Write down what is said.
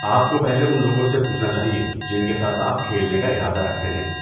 آپ کو پہلے ان لوگوں سے پوچھنا چاہیے جن کے ساتھ آپ کھیلنے کا ارادہ رکھتے ہیں۔